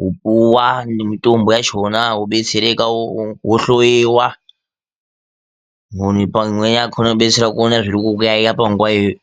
wopuwa nemitombo yachona wobetsereka wohloyiwa ,imweni midziyo yakona inokubetsera kuona zvirikukuyayiya panguwa iyoyo.